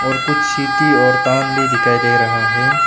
और कुछ छीती और तांब भी दिखाई दे रहा है।